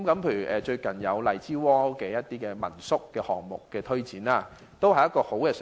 例如最近荔枝窩民宿項目的推展，都是很好的嘗試。